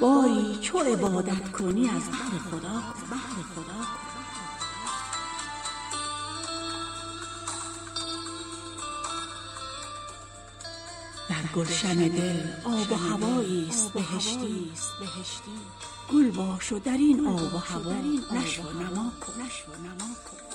باری چو عبادت کنی از بهر خدا کن با خلق ریاکار کرم کن به مدارا ور خود به کرامت نتوانی به ریا کن یک شهر به خود یار کن از بهر دعایی وز حق طلب عفو دو عالم به دعا کن